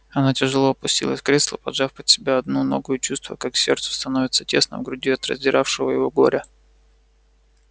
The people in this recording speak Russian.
она тяжело опустилась в кресло поджав под себя одну ногу и чувствуя как сердцу становится тесно в груди от раздиравшего его горя